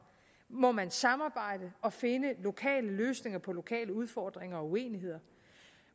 må man samarbejde og finde lokale løsninger på lokale udfordringer og uenigheder